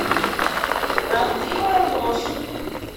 правдивая ложь